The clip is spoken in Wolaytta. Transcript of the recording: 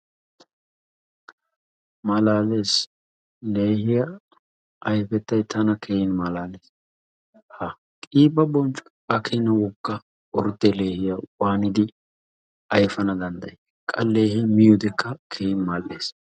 Malaalees! leehiya ayfettay tana keehin malaalees; ha qiba bonccoy hagaa keena wogga ordde leehiyaa waanidi ayfana danddayi? qa leehe miiyoodekka keehin mal''ees.